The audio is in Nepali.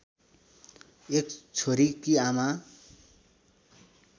एक छोरीकी आमा